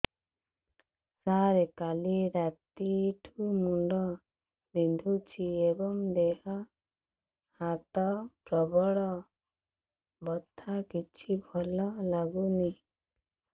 ସାର କାଲି ରାତିଠୁ ମୁଣ୍ଡ ବିନ୍ଧୁଛି ଏବଂ ଦେହ ହାତ ପ୍ରବଳ ବଥା କିଛି ଭଲ ଲାଗୁନି